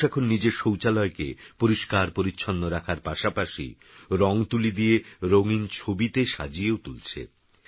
মানুষএখননিজেরশৌচালয়কেপরিষ্কারপরিচ্ছন্নরাখারপাশাপাশিরঙতুলিদিয়েরঙিনছবিতেসাজিয়েওতুলছে